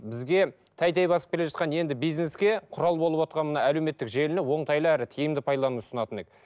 бізге тәй тәй басып келе жатқан енді бизнеске құрал болывотқан мына әлеуметтік желіні оңтайлы әрі тиімді пайдалануды ұсынатын едік